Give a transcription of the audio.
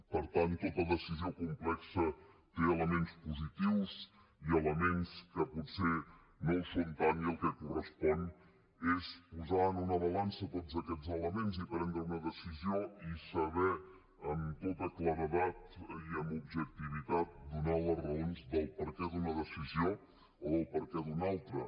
per tant tota decisió complexa té elements positius i elements que potser no ho són tant i el que correspon és posar en una balança tots aquests elements i prendre una decisió i saber amb tota claredat i amb objectivitat donar les raons del perquè d’una decisió o del perquè d’una altra